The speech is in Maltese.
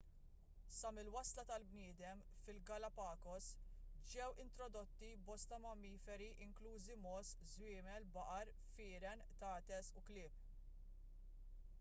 sa mill-wasla tal-bniedem fil-galapagos ġew introdotti bosta mammiferi inklużi mogħoż żwiemel baqar firien qtates u klieb